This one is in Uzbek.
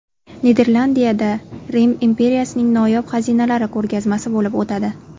Niderlandiyada Rim imperiyasining noyob xazinalari ko‘rgazmasi bo‘lib o‘tadi.